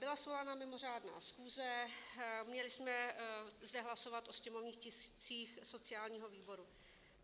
Byla svolána mimořádná schůze, měli jsme zde hlasovat o sněmovních tiscích sociálního výboru.